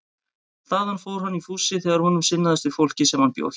Þaðan fór hann í fússi þegar honum sinnaðist við fólkið sem hann bjó hjá.